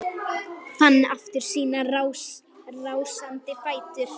Fann aftur sína rásandi fætur.